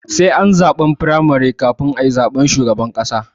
Sai ani zaɓen firamare kafin ayi zaben shugaban ƙasa